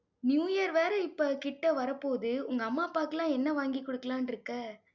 New year வேற, இப்ப கிட்ட வரபோகுது. உங்க அம்மா அப்பாக்குலாம் என்ன வாங்கி கொடுக்கலாம்னு இருக்கே